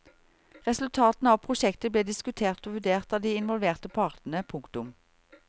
Resultatene av prosjektet ble diskutert og vurdert av de involverte partene. punktum